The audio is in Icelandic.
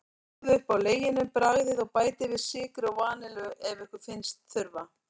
Sjóðið upp á leginum, bragðið, og bætið við sykri og vanillu ef ykkur finnst þurfa.